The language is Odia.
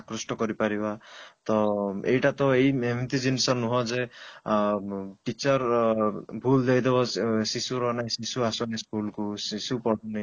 ଆକୃଷ୍ଟ କରିପାରିବା ତ ଏଇଟା ତ ଏମିତି ଜିନିଷ ନୁହଁ ଯେ ଅଂ teacher ଭୁଲ ଦେଇଦେବ ଶିଶୁ ମାନଙ୍କୁ ଶିଶୁ ଆସେନି school କୁ